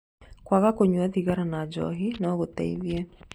Kwaga kũnyua thigara na Njohi no gũteithie.